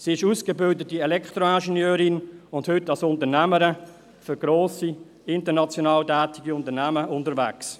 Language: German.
Sie ist ausgebildete Elektroingenieurin und heute als Unternehmerin für grosse, international tätige Unternehmen unterwegs.